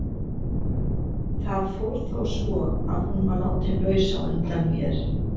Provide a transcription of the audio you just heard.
Það fór þó svo að hún var látin laus á undan mér.